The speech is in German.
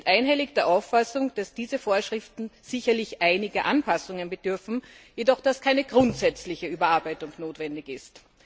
Sie sind einhellig der Auffassung, dass diese Vorschriften sicherlich einiger Anpassungen bedürfen, jedoch dass keine grundsätzliche Überarbeitung notwendig ist.